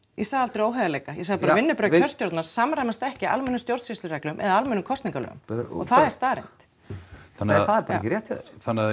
ég sagði aldrei óheiðarleika ég sagði bara að vinnubrögð kjörstjórnar samræmast ekki almennum stjórnsýslureglum eða almennum kosningareglum og það er staðreynd nei það er bara ekki rétt hjá þér